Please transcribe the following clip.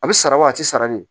A bɛ sara wa a tɛ sara ne ye